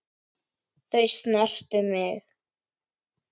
Þau snertu mig.